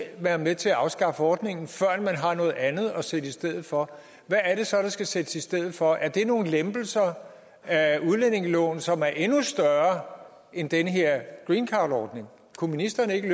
være med til at afskaffe ordningen førend man har noget andet at sætte i stedet for hvad er det så der skal sættes i stedet for er det nogle lempelser af udlændingeloven som er endnu større end den her greencardordning kunne ministeren ikke